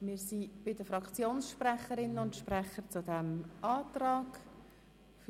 Wir sind bei den Fraktionssprecherinnen und Fraktionssprechern zu diesem Antrag angelangt.